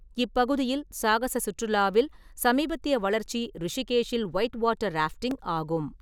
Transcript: இப்பகுதியில் சாகச சுற்றுலாவில் சமீபத்திய வளர்ச்சி ரிஷிகேஷில் ஒயிட் வாட்டர் ராஃப்டிங் ஆகும்.